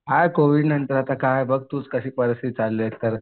काय कोविडनंतर आता तूच बघ कशी परिस्थिती झालेली आहे एकतर